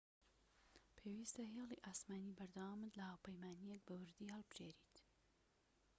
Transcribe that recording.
پێویستە هێڵی ئاسمانی بەردەوامت لە هاوپەیمانیەک بە ووردی هەڵبژێریت